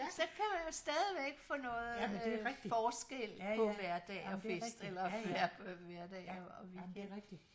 Så kan man jo stadigvæk få noget øh forskel på hverdag og fest eller ja hverdag og weekend